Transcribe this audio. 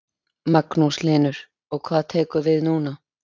Magnús Hlynur: Og hvað tekur við núna?